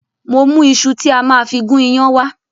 Mo mú iṣu tí a máa fi gún iyán wá